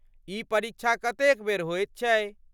ई परीक्षा कतेक बेर होइत अछि?